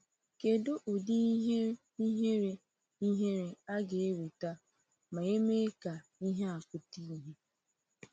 Kedụ ụdị ihe ihere ihere a ga-enweta ma e mee ka ihe a pụta ìhè!